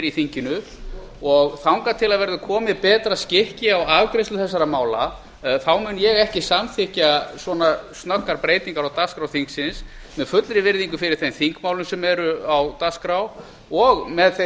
í þinginu og þangað til verður komið betra skikki á afgreiðslu þessara mála þá mun ég ekki samþykkja svona snöggar breytingar á dagskrá þingsins sem fullri virðingu fyrir þeim þingmálum sem eru á dagskrá og með þeirri